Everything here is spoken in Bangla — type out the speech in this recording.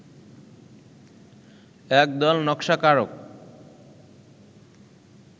একদল নকশাকারক